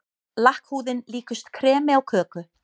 Lakkhúðin líkust kremi á köku.